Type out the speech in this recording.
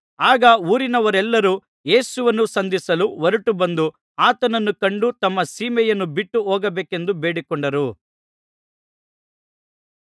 ಆಗ ಊರಿನವರೆಲ್ಲರೂ ಯೇಸುವನ್ನು ಸಂಧಿಸಲು ಹೊರಟುಬಂದು ಆತನನ್ನು ಕಂಡು ತಮ್ಮ ಸೀಮೆಯನ್ನು ಬಿಟ್ಟು ಹೋಗಬೇಕೆಂದು ಬೇಡಿಕೊಂಡರು